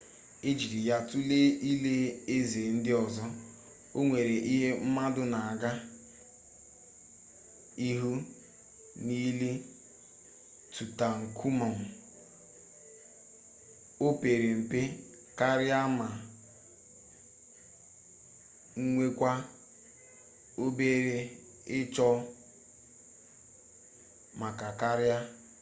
e jiri ya tulee ili eze ndị ọzọ o nweghi ihe mmadụ na-aga ịhụ n'ili tutankhamun o pere mpe karịa ma nwekwaa obere ịchọ mma karịa